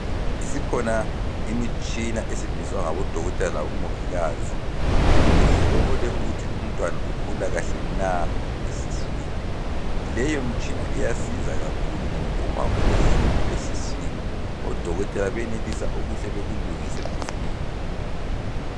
Isikhona imitshina esetshenziswa ngabo dokotela labo mongikazi ukuthi behlole ukuthi umntwana ukhula kuhle na esiswini leyo mtshina iyasiza kakhulu ngaba uma kulohlupho esiswini odokotela benelisa ukuhle bekulungise masinya